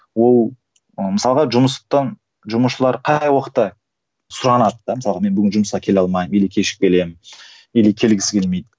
ол мысалға жұмыстан жұмысшылар қай уақытта сұранады да мысалға мен бүгін жұмысқа келе алмаймын или кешігіп келемін или келгісі келмейді